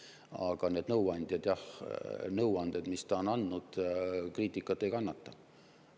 Aga need nõuanded, mis ta on andnud, kriitikat ei kannata.